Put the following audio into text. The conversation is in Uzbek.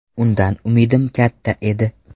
Undan umidim katta edi.